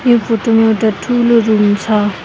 यो फोटो मा एउटा ठूलो रूम छ।